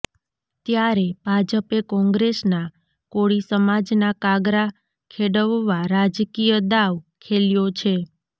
ત્યારે ભાજપે કોગ્રેસના કોળી સમાજના કાગરા ખેડવવા રાજકીયદાવ ખેલ્યો છે